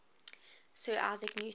sir isaac newton